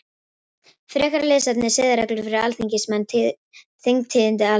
Frekara lesefni: Siðareglur fyrir alþingismenn Þingtíðindi Alþingi.